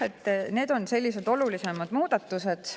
Need on sellised olulisemad muudatused.